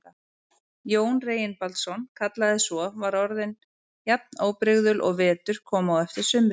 Jón Reginbaldsson kallaði svo, var orðin jafn óbrigðul og vetur kom á eftir sumri.